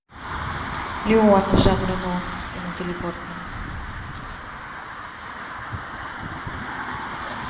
леон жан рено и натали портман